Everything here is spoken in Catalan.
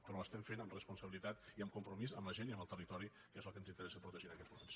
però l’estem fent amb responsabilitat i amb compromís amb la gent i amb el territori que és el que ens interessa protegir en aquests moments